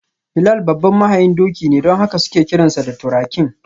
Bilal babban mahayin doki ne don haka suke kiransa da: ‘Turakin’.